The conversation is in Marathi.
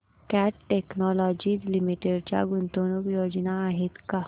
कॅट टेक्नोलॉजीज लिमिटेड च्या गुंतवणूक योजना आहेत का